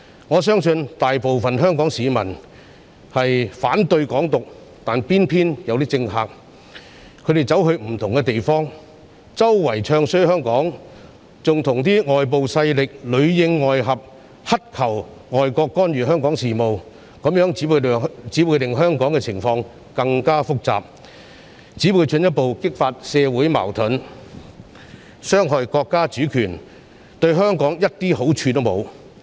我相信大部分香港市民均反對"港獨"，但偏偏有些政客到不同地方唱衰香港，還跟外部勢力裏應外合，乞求外國干預香港事務，這樣只會令香港的情況更複雜，進一步激發社會矛盾，傷害國家主權，對香港沒有任何好處。